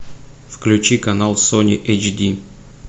включи канал сони эйч ди